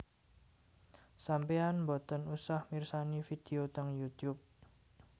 Sampean mboten usah mirsani video teng Youtube